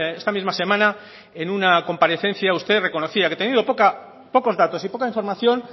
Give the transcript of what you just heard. esta misma semana en una comparecencia usted reconocía que teniendo pocos datos y poca información